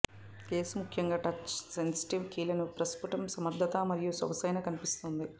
case ముఖ్యంగా touch sensitive కీలను ప్రస్పుటం సమర్థతా మరియు సొగసైన కనిపిస్తోంది